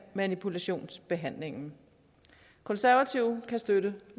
manipulationsbehandlingen konservative kan støtte